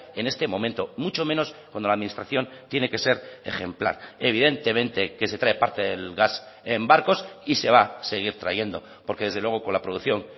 en este momento mucho menos cuando la administración tiene que ser ejemplar evidentemente que se trae parte del gas en barcos y se va a seguir trayendo porque desde luego con la producción